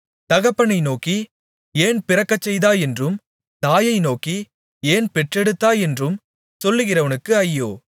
தகப்பனை நோக்கி ஏன் பிறக்கச்செய்தாய் என்றும் தாயை நோக்கி ஏன் பெற்றெடுத்தாய் என்றும் சொல்கிறவனுக்கு ஐயோ